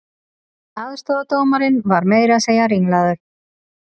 Aðstoðardómarinn var meira að segja ringlaður